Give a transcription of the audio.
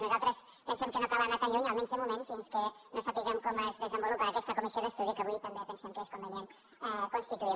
nosaltres pensem que no cal anar tan lluny almenys de moment fins que no sapiguem com es desenvolupa aquesta comissió d’estudi que avui també pensem que és convenient constituir